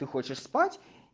ты хочешь спать